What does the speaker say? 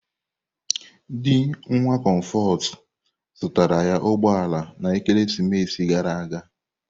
Di nwa Comforts zụtara ya ụgbọ ala na ekeresimesi gara aga.